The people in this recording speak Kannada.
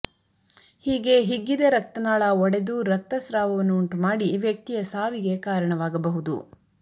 ಹೀಗೆ ಹಿಗ್ಗಿದ ರಕ್ತನಾಳ ಒಡೆದು ರಕ್ತಸ್ರಾವವನ್ನು ಉಂಟು ಮಾಡಿ ವ್ಯಕ್ತಿಯ ಸಾವಿಗೆ ಕಾರಣವಾಗಬಹುದು